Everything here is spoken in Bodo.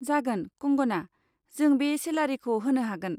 जागोन, कंगना, जों बे सेलारिखौ होनो हागोन।